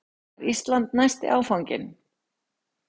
Var Ísland næsti áfanginn?